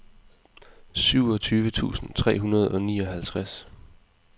syvogtyve tusind tre hundrede og nioghalvtreds